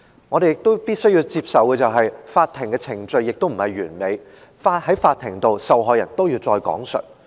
我們亦必須接法庭的程序並不完美，受害人在法庭上還是要再次講述受害經歷。